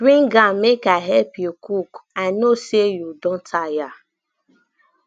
bring am make i help you cook i no say you don tire